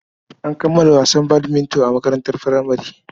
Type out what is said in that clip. An kammala wasan badminton a makarantar furamare.